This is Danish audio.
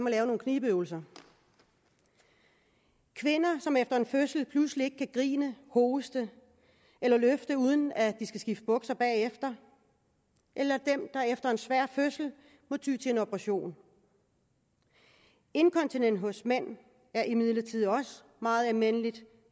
og lave nogle knibeøvelser og kvinder som efter en fødsel pludselig ikke kan grine hoste eller løfte uden at de skal skifte bukser bagefter eller dem der efter en svær fødsel må ty til en operation inkontinens hos mænd er imidlertid også meget almindeligt